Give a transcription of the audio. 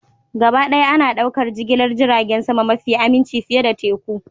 Gabaɗaya ana ɗaukar jigilar jiragen sama mafi aminci fiye da teku